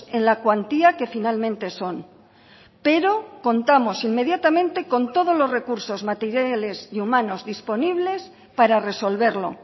en la cuantía que finalmente son pero contamos inmediatamente con todos los recursos materiales y humanos disponibles para resolverlo